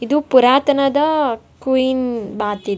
ಇದು ಪುರಾತನದಾ queen bath .